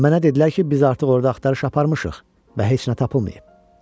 Mənə dedilər ki, biz artıq orada axtarış aparmışıq və heç nə tapılmayıb.